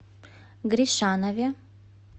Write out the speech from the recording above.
гришанове